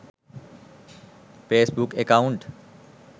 facebook account